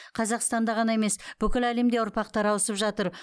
қазақстанда ғана емес бүкіл әлемде ұрпақтар ауысып жатыр